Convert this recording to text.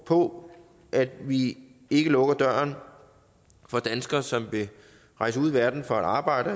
på at vi ikke lukker døren for danskere som rejser ud i verden for at arbejde